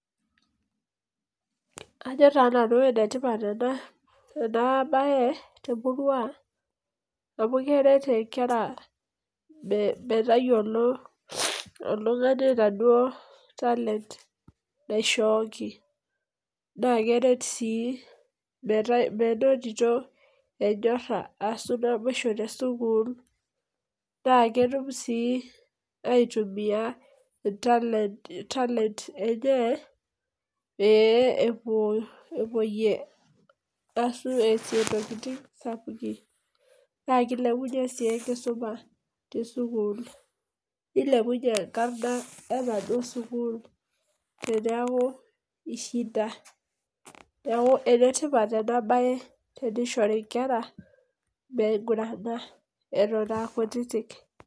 Ajo taa nanu enetipat ena bae temurua murua amu keret nkera metayiolo oltungani enaduoo talent naishooki. naa keret sii menotito enyora. ashu naboisho te sukuul. naa ketum sii aitumia talent enye pee eesie ntokitin, sapukin. naa ikilepunye sii enkisuma te sukuul. nulepunye enkarna enaduoo sukuul tenneku ishinda. neeku ene tipat ena bae teneishori nkera meigurana Eton aa kutitik.